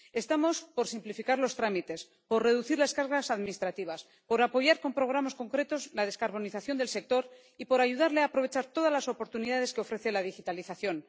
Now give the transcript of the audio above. Estamos por simplificar los trámites, por reducir las cargas administrativas, por apoyar con programas concretos la descarbonización del sector y por ayudarle a aprovechar todas las oportunidades que ofrece la digitalización.